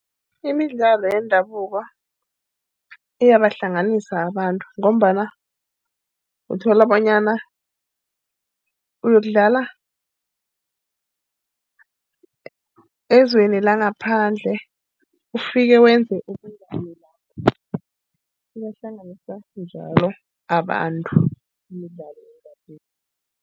Imidlalo yendabuko iyabahlanganisa abantu ngombana uthola bonyana uyokudlala ezweni langaphandle, ufike wenze ubunganisa lapho. Libahlanganisa njalo abantu imidlalo yendabuko.